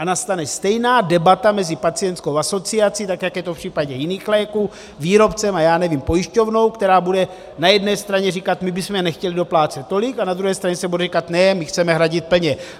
A nastane stejná debata mezi pacientskou asociací, tak jak je to v případě jiných léků, výrobcem a já nevím, pojišťovnou, která bude na jedné straně říkat my bychom nechtěli doplácet tolik, a na druhé straně se bude říkat ne, my chceme hradit plně.